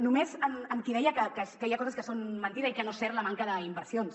només a qui deia que hi ha coses que són mentida i que no és certa la manca d’inversions